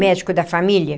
Médico da família.